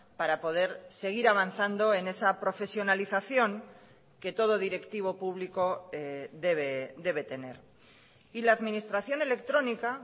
para poder seguir avanzando en esa profesionalización que todo directivo público debe tener y la administración electrónica